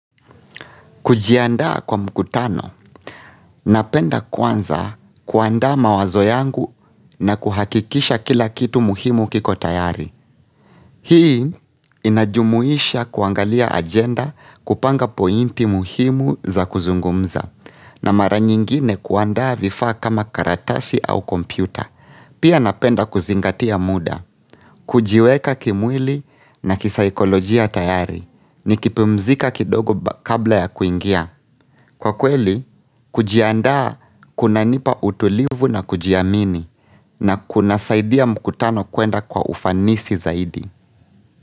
Kujiandaa kwa mkutano. Napenda kwanza kuanda mawazo yangu na kuhakikisha kila kitu muhimu kiko tayari. Hii inajumuisha kuangalia agenda kupanga pointi muhimu za kuzungumza. Na mara nyingine kuanda vifaa kama karatasi au kompyuta. Pia napenda kuzingatia muda. Kujiweka kimwili na kisaikolojia tayari ni kipumzika kidogo kabla ya kuingia. Kwa kweli, kujiandaa kuna nipa utulivu na kujiamini na kuna saidia mkutano kuenda kwa ufanisi zaidi.